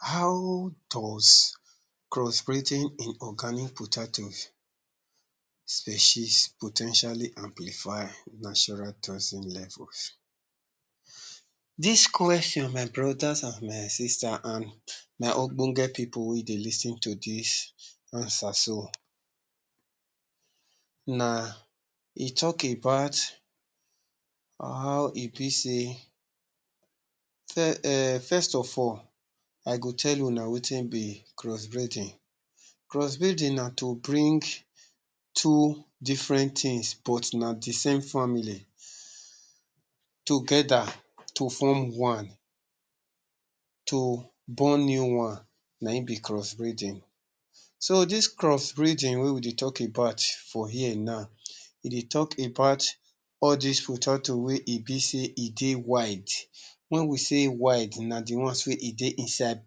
How does cross- breeding in organic potatoes species po ten tially amplify natural toxic levels? Dis question my brothers and my sisters and my ogbonge people wey dey lis ten to dis answer so. Na e talk about how e be sey um first of all, i go tell una wetin be cross- breeding. Cross- breeding na to bring two different things but na dey same family together to form one, to born new one na im be cross-breeding. So dis cross-breeding wey we dey talk about for here now, e dey talk about all dis fruits we turn to be sey e dey wild when we sey wild na dey ones wey e dey inside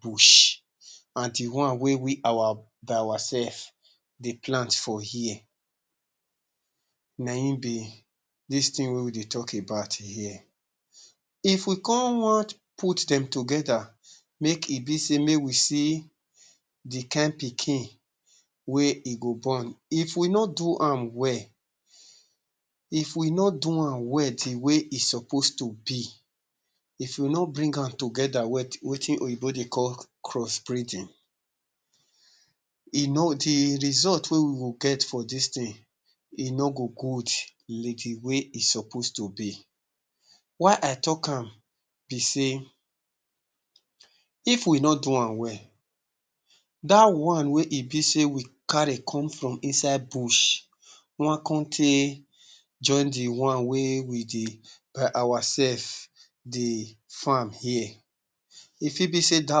bush and dey wey we by ourself dey plant for here na im be dis thing wey we dey talk about here. If we come wan put dem together make e be sey make we see dey kain pikin wey e go born, if we no do am well if we no do am well dey way e suppose to be, if we no bring am together wetin oyibo dey call cross-breeding, dey result wey we go get for dis thing e no go good like dey way e suppose to be why i talk am be sey if we no do am well that one wey e be sey we carry come from inside bush wan come tey join dey one wey we dey by ourself dey farm here e fit be sey dat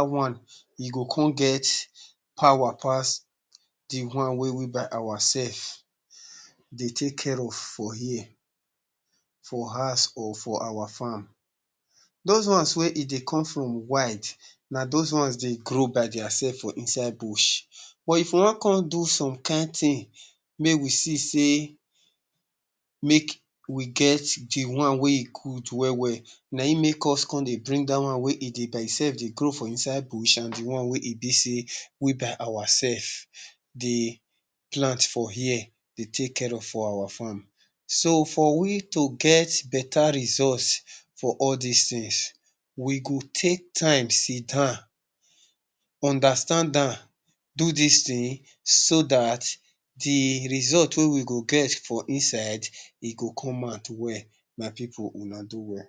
one e go come get power pass dey one wey we by ourself dey take care of for here for house or for our farm those ones wey e dey come from wild na those ones dey grow by theirself for inside bush but if wan come do some kain thing, may we see sey make we get dey one wey e good well well na im make us come dey bring dat one wey e dey imself dey grow for inside bush and dey one wey e be sey we by ourself the plant for here dey take care of our farm so for we to get better results for all dis things, we go take time sidan, understand am do dis thing so that dey result wey we go get from inside e go come out well. My people una do well.